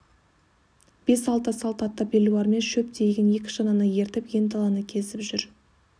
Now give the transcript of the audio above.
бес-алты салт атты белуардан шөп тиеген екі шананы ертіп ен даланы кезіп жүр